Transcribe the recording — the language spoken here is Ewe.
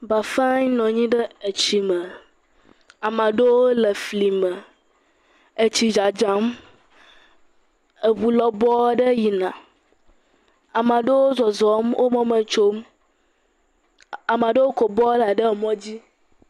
Bafae nɔ anyi ɖe etsi me, amea ɖewo le efli me, etsi dzadzam, eŋu lɔbɔ aɖe yina, anea ɖewo zɔzɔm, wo mɔ me tsom, amea ɖewo kɔ bɔla ɖe emɔ dzi.